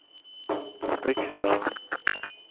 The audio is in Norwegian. Viksdalen